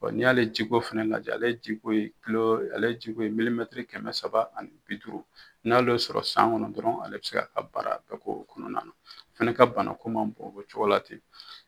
N' i y'ale jiko fɛnɛ lajɛ ale jiko ye kulo ale jiko ye milimɛtiri kɛmɛ saba ani bi duuru n'ale y'o sɔrɔ san kɔnɔn dɔrɔn ale be se k'a ka baara bɛɛ k'o kɔnɔna a fana ka banako man bon o cogo la ten